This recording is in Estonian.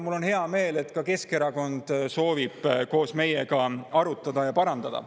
Mul on hea meel, et Keskerakond soovib neid koos meiega arutada ja parandada.